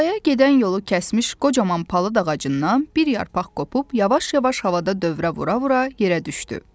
Talaya gedən yolu kəsmiş qocaman palıd ağacından bir yarpaq qopub yavaş-yavaş havada dövrə vura-vura yerə düşdü.